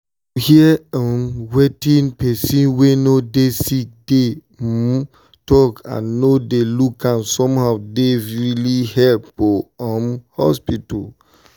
to hear um wetin person wey dey sick dey um talk and no dey look am somehow dey really help for um hospital.